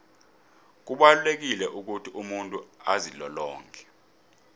kubalulekile ukuthi umuntu azilolonge